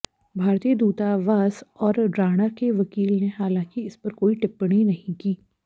भारतीय दूतावास और राणा के वकील ने हालांकि इस पर कोई टिप्पणी नहीं की